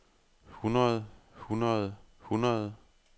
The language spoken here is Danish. hundrede hundrede hundrede